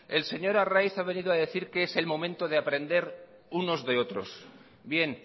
el señor arraiz ha venido a decir que es el momento de aprender unos de otros bien